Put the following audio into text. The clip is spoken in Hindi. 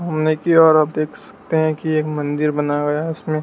सामने की ओर आप देख सकते हैं कि एक मंदिर बना हुआ है उसमें--